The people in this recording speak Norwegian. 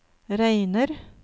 regner